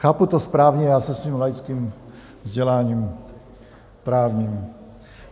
Chápu to správně, já se svým laickým vzděláním právním?